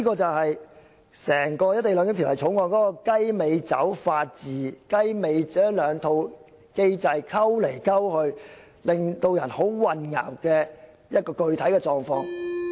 這就是整體《條例草案》的"雞尾酒式"法治，把中港兩套法制互相混合，令人感到混淆的具體狀況。